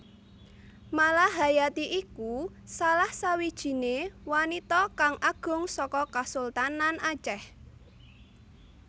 Malahayati iku salah sawijiné wanita kang agung saka Kasultanan Acèh